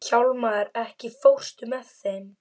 Hjálmar, ekki fórstu með þeim?